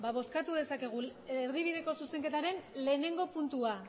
bozkatu dezakegu erdibideko zuzenketaren lehenengo puntua